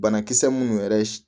Banakisɛ minnu yɛrɛ